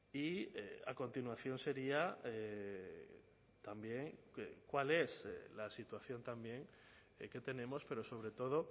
y a continuación sería también cuál es la situación también que tenemos pero sobre todo